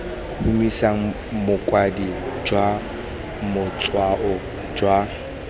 humiseng bokwadi jwa matshwao jwa